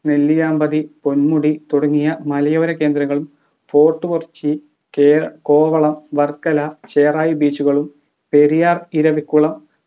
നെല്ലിയാമ്പതി പൊന്മുടി തുടങ്ങിയ മലയോര കേന്ദ്രങ്ങളും ഫോർട്ട് കൊച്ചി കെ കോവളം വർക്കല ചെറായി beach കളും പെരിയാർ ഇരവികുളം